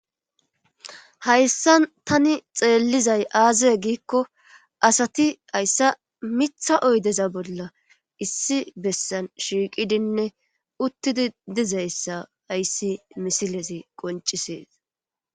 Hayssan tani xeellizay aaziye giikko asati hayssa mitha oydeza bolla issi bessan shiiqidinne uttidi dizayssa hayssi misilezi qoncisees.